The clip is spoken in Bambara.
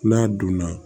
N'a donna